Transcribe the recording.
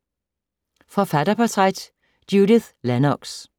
Forfatterportræt: Judith Lennox